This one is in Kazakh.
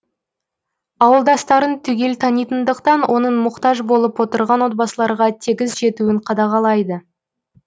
ауылдастарын түгел танитындықтан оның мұқтаж болып отырған отбасыларға тегіс жетуін қадағалайды